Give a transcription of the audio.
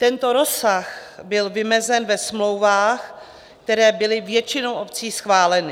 Tento rozsah byl vymezen ve smlouvách, které byly většinou obcí schváleny.